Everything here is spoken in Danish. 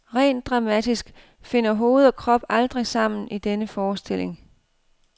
Rent dramatisk finder hoved og krop aldrig sammen i denne forestilling.